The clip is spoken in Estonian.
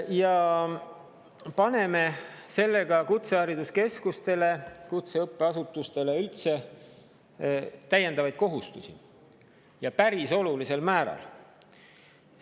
Me paneme sellega kutsehariduskeskustele, kutseõppeasutustele üldse, täiendavaid kohustusi, ja päris olulisel määral.